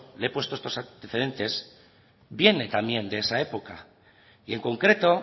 le he puesto en estos antecedentes viene también de esa época y en concreto